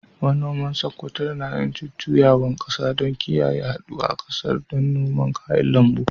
Manoman Sokoto na yin jujjuyawar kasa don kiyaye yaɗuwa ƙasar don noman kayan lambu.